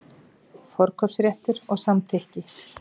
Forkaupsréttur og samþykki.